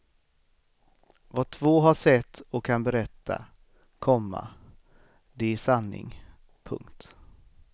Vad två har sett och kan berätta, komma det är sanning. punkt